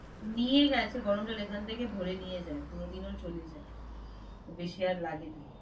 নিয়ে গেছে গরম জল এখান থেকে ভরে নিয়ে যায় কোনোদিন ও চলে যায় বেশি আর লাগে না।